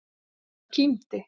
Kristófer og kímdi.